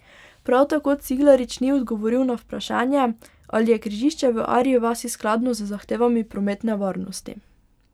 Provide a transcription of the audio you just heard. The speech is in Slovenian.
Prav tako Ciglarič ni odgovoril na vprašanje, ali je križišče v Arji vasi skladno z zahtevami prometne varnosti.